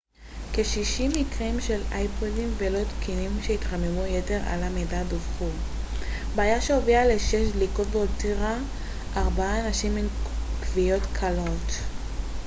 כ-60 מקרים של אייפודים לא תקינים שהתחממו יתר על המידה דווחו בעיה שהובילה לשש דליקות והותירה ארבעה אנשים עם כוויות קלות